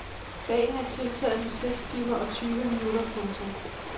Dagen er tiltaget med seks timer og tyve minutter. punktum